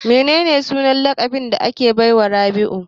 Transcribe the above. Menene sunan laƙabin da aka baiwa Rabiu?